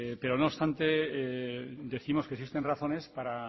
pero no obstante décimos que existen razones para